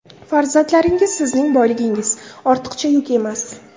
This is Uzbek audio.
Farzandlaringiz sizning boyligingiz, ortiqcha yuk emas!